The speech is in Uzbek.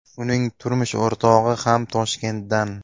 Uning turmush o‘rtog‘i ham Toshkentdan.